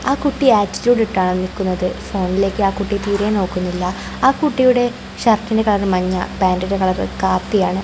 ആ കുട്ടി ആറ്റിട്യൂട് ഇട്ടാണ് നിൽക്കുന്നത് ആ കുട്ടി തീരെ നോക്കുന്നില്ല ആ കുട്ടിയുടെ ഷർട്ടിൻ്റെ കളർ മഞ്ഞ പാൻ്റിൻ്റെ കളർ കാപ്പിയാണ്.